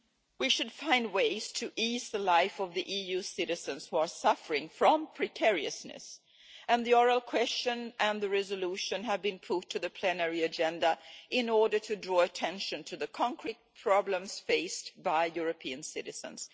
We should find ways to ease the life of EU citizens who are suffering from precariousness, and the oral question and the resolution have been put on the plenary agenda in order to draw attention to the concrete problems faced by European citizens.